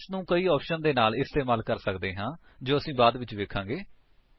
LS ਨੂੰ ਕਈ options ਦੇ ਨਾਲ ਇਸਤੇਮਾਲ ਕਰ ਸਕਦੇ ਹਾਂ ਜੋ ਅਸੀ ਬਾਅਦ ਵਿੱਚ ਵੇਖਾਂਗੇ